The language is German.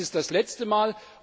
Dies ist das letzte Mal.